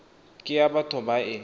ke ya batho ba e